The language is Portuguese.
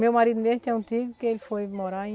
Meu marido mesmo tem um tio que ele foi morar em...